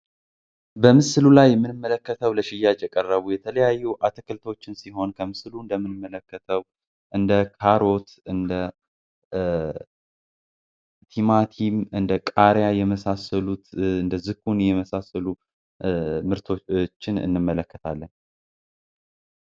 በምስሉ ላይ የምንመለከተው የተለያዩ ለሽያጭ የቀረቡ ምርቶችን ሲሆን በምስሉ ላይ እንደምትመለከቱት እንደ ካሮት እንደትማቲም እንደ ቃርያ የመሳሰሉት እንደዝኩኒ የመሳሰሉት ምርቶችን እንመለከታለን።